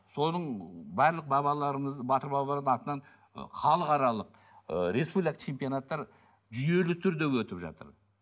соның барлық бабаларымыз батыр бабаларымыздың атынан ы халықаралық ы республикалық чемпионаттар жүйелі түрде өтіп жатыр